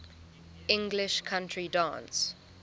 english country dance